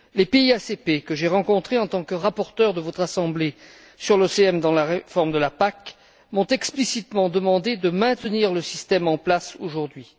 Les pays ACP que j'ai rencontrés en tant que rapporteur de votre assemblée sur l'OCM dans la réforme de la PAC m'ont explicitement demandé de maintenir le système en place aujourd'hui.